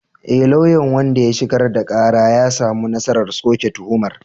E, lauyan wanda ya shigar da kara ya samu nasarar soke tuhumar.